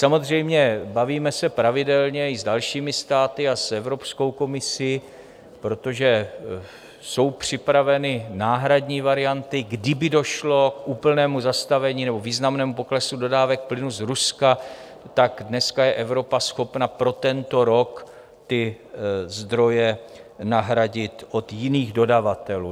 Samozřejmě, bavíme se pravidelně i s dalšími státy a s Evropskou komisí, protože jsou připraveny náhradní varianty - kdyby došlo k úplnému zastavení nebo významnému poklesu dodávek plynu z Ruska, tak dneska je Evropa schopna pro tento rok ty zdroje nahradit od jiných dodavatelů.